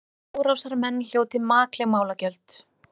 Árásarmenn hljóti makleg málagjöld